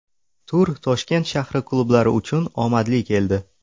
Tur Toshkent shahri klublari uchun omadli keldi.